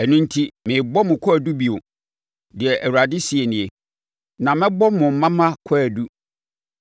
“Ɛno enti, merebɔ mo kwaadu bio,” deɛ Awurade seɛ nie. “Na mɛbɔ mo mma mma kwaadu.